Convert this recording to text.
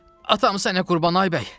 Atam sənə qurban, ay bəy.